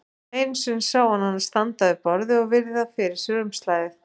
Einu sinni sá hann hana standa við borðið og virða fyrir sér umslagið.